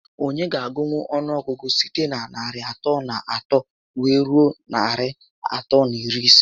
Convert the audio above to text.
Onye ga agụnwu ọnụọgụgụ site na narị atọ na otu wee rue narị atọ na iri ise?